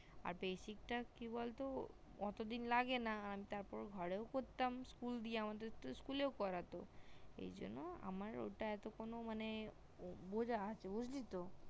আর basic টা কি বলতো এত দিন লাগে না আর তার পর ঘরেও করতাম school দিয়া আমাদের তো school করতো এইজন্য আমার ওটা এত মানে বোজা আছে বুজলি তো